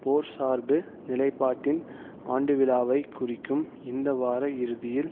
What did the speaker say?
போர் சார்பு நிலைப்பாட்டின் ஆண்டுவிழாவைக் குறிக்கும் இந்த வார இறுதியில்